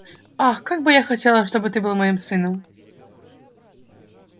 ах как бы я хотела чтобы ты был моим сыном